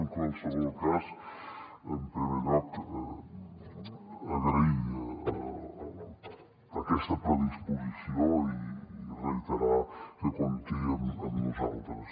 en qualsevol cas en primer lloc donar les gràcies per aquesta predisposició i reiterar que compti amb nosaltres